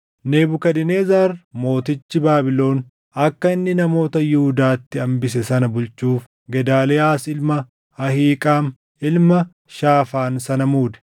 Nebukadnezar mootichi Baabilon akka inni namoota Yihuudaatti hambise sana bulchuuf Gedaaliyaas ilma Ahiiqaam ilma Shaafaan sana muude.